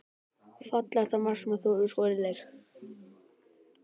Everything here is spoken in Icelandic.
Fallegasta mark sem þú hefur skorað í leik?